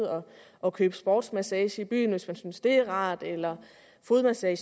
og købe sportsmassage i byen hvis man synes det er rart eller fodmassage